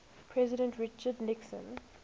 president richard nixon